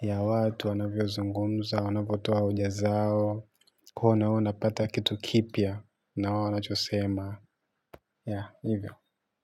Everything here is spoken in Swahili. ya watu wanavyozungumza, wanavyotoa hoja zao, huwa napata kitu kipya na wanachosema. Ya, hivyo.